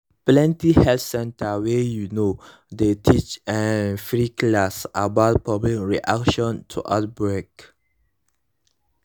plenty health center wey you know dey teach um free class about public reaction to outbreak